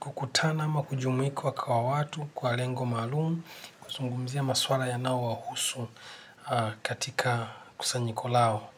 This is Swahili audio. kukutana ama kujumuika kwa watu, kwa lengo maalum, kuzungumzia masuala yanao wahusu katika kusanyiko lao.